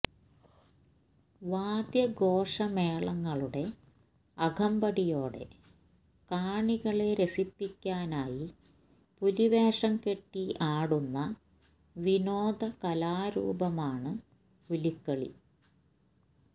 വാദ്യഘോഷമേളങ്ങളുടെ അകമ്പടിയോടെ കാണികളെ രസിപ്പിക്കാനായി പുലി വേഷം കെട്ടി ആടുന്ന വിനോദ കലാരൂപമാണ് പുലികളി